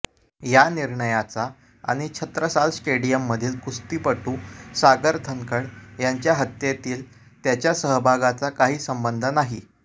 या निर्णयाचा आणि छत्रसाल स्टेडियममधील कुस्तीपटू सागर धनखड यांच्या हत्येतील त्याच्या सहभागाचा काही संबंध नाही